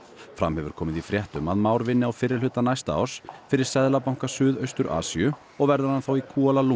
fram hefur komið í fréttum að Már vinni á fyrri hluta næsta árs fyrir seðlabanka Suðaustur Asíu og verður hann þá í